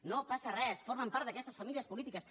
no passa res formen part d’aquestes famílies polítiques